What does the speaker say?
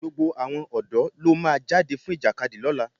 Gbogbo àwọn ọ̀dọ́ ló máa jáde fún Ìjàkadì lọ́tunla